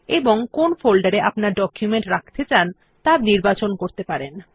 এবং কোন ফোল্ডারে আপনার ডকুমেন্ট রাখতে চান ত়া বেছে নিতে পারেন